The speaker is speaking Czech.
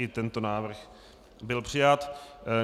I tento návrh byl přijat.